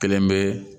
Kelen bɛ